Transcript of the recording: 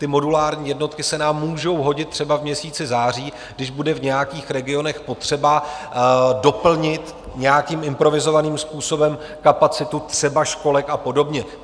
Ty modulární jednotky se nám můžou hodit třeba v měsíci září, když bude v nějakých regionech potřeba doplnit nějakým improvizovaným způsobem kapacitu třeba školek a podobně.